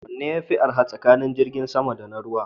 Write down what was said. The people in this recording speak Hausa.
Wanne yafi arha tsakanin jirgin sama da na ruwa?